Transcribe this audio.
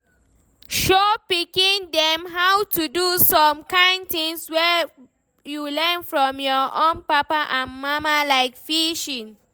Show pikin dem how to do some kind things wey you learn from your own papa and mama, like fishing